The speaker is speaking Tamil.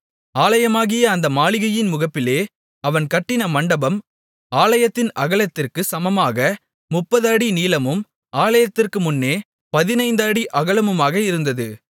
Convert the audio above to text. ஆலயமாகிய அந்த மாளிகையின் முகப்பிலே அவன் கட்டின மண்டபம் ஆலயத்தின் அகலத்திற்குச் சமமாக 30 அடி நீளமும் ஆலயத்திற்கு முன்னே 15 அடி அகலமுமாக இருந்தது